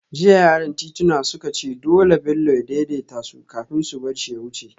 Jiya yaran tituna suka ce dole Bello ya daidaita su kafin su bar shi ya wuce